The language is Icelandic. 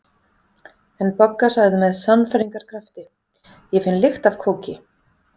En Bogga sagði með sannfæringarkrafti: Ég finn lykt af kóki